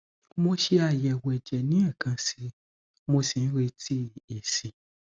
mo ṣe àyẹwò ẹjẹ ni ẹkan sí i mo sì ń retí èsì